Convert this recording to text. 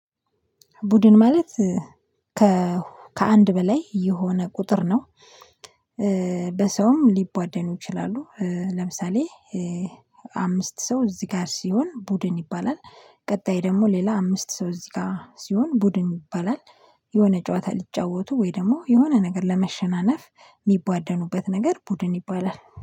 ቡድን ማለት ከአንድ በላይ የሆነ ቁጥር ነው። በሰውም ሊቧደኑ ይችላሉ ለምሳሌ አምስት ሰው እዚህ ጋር ሲሆን ቡድን ይባላል። ቀጣይ ደግሞ ሌላ አምስት ሰው እዚህ ጋር ሲሆን ቡድን ይባላል። የሆነ ጨዋታ ሊጫወቱ ወይ ደግሞ የሆነ ነገር ለመሸናነፍ የሚቧደኑበት ነገር ቡድን ይባላል